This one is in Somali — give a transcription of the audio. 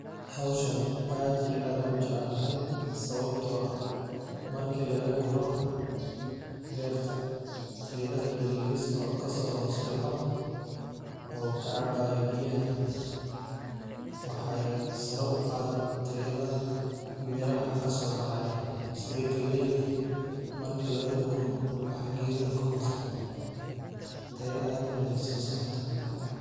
Hawshani aad iyo aada u jeclahay sababtoo ah markii laga guro beerta. Geedaha yaryariska oo ka soo hoos bahoo oo ka cabay biyaha waxay saro u qaadi tayada miraha ka soo bahayan side gelayd ah. Markii laga guro waxa geedaha ka hoos bucu taye aad u leeyso saarta Mira.